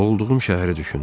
Doğulduğum şəhəri düşündüm.